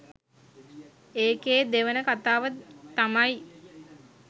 ඒකෙ දෙවන කතාව තමයි